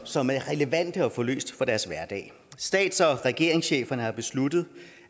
som er relevante at få løst for deres hverdag stats og regeringscheferne har besluttet